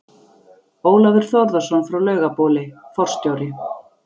Ólafur Þórðarson frá Laugabóli, forstjóri